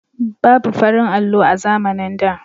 Babu farin allo a zamanin da